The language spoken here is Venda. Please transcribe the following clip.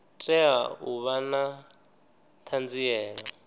tea u vha na ṱhanziela